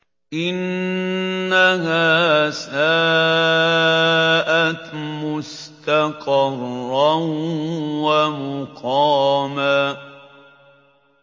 إِنَّهَا سَاءَتْ مُسْتَقَرًّا وَمُقَامًا